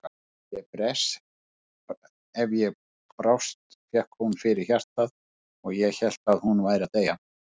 Ef ég brást fékk hún fyrir hjartað og ég hélt að hún væri að deyja.